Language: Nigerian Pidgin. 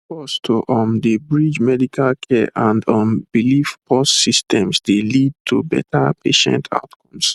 pause to um dey bridge medical care and um belief pause systems dey lead to better patient outcomes